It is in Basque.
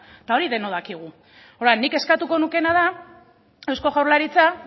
eta hori denok dakigu orduan nik eskatuko nukeena da eusko jaurlaritza